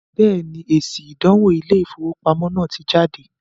Bẹ́ẹ̀ni, èsì “ ìdánwò Ilé-ìfowópamọ́ ” náà ti jáde